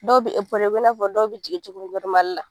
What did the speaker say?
Dɔw bi i na fɔ dɔw be jigin cogo min la.